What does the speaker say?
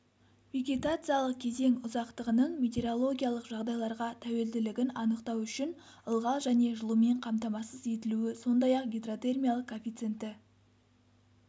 вегетациялық кезең ұзақтығының метеорологиялық жағдайларға тәуелділігін анықтау үшін ылғал және жылумен қамтамасыз етілуі сондай-ақ гидротермиялық коэффициенті